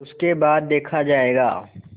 उसके बाद देखा जायगा